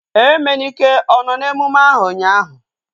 Emenike ọ nọ n'emume ahu ụnyaahụ?